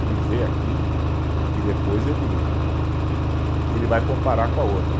Ele vê aquilo e depois ele, ele vai comparar com a outra.